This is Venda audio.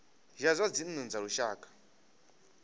ya zwa dzinnu dza lushaka